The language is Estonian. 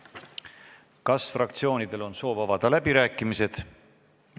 Kas fraktsioonidel on soovi avada läbirääkimisi?